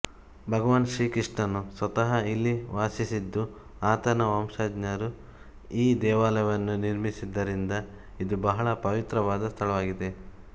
ಭಗವಾನ್ ಶ್ರೀ ಕೃಷ್ಣನು ಸ್ವತಃ ಇಲ್ಲಿ ವಾಸಿಸಿದ್ದು ಆತನ ವಂಶಜರು ಈ ದೇವಾಲಯವನ್ನು ನಿರ್ಮಿಸಿದ್ದರಿಂದ ಇದು ಬಹಳ ಪವಿತ್ರವಾದ ಸ್ಥಳವಾಗಿದೆ